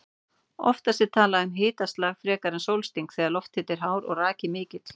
Oftast er talað um hitaslag frekar en sólsting þegar lofthiti er hár og raki mikill.